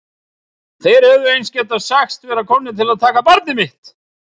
Þeir hefðu eins getað sagst vera komnir til að taka barnið mitt.